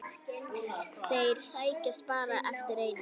Þeir sækjast bara eftir einu.